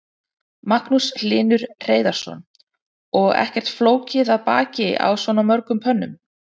Magnús Hlynur Hreiðarsson: Og ekkert flókið að baka á svona mörgum pönnum?